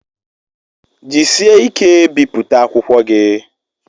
Jisie ike biputa akwụkwọ gi